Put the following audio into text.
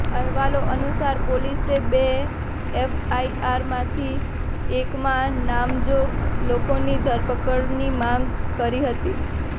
અહેવાલો અનુસાર પોલીસે બે એફઆઇઆરમાંથી એકમાં નામજોગ લોકોની ધરપકડની માગ કરી હતી